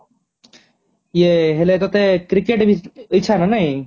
ଇଏହେଲେ ତତେ cricket ଇଚ୍ଛା ନା ନାହିଁ